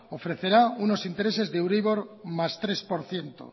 ofrecerá unos intereses de euribor más tres por ciento